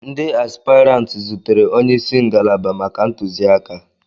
Ndi áspịràntị zutere onye isi ngalaba maka ntụzịaka